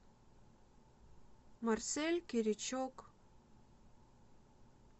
марсель киричук